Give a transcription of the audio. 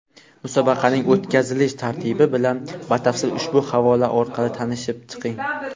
Musobaqaning o‘tkazilish tartibi bilan batafsil ushbu havola orqali tanishib chiqing!.